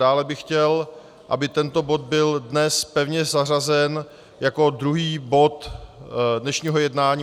Dále bych chtěl, aby tento bod byl dnes pevně zařazen jako druhý bod dnešního jednání.